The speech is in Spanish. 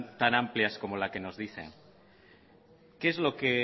tan amplias como la que nos dicen qué es lo que